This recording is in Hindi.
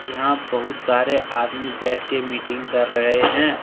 यहां बहुत सारे आदमी बैठ के मीटिंग कर रहे हैं।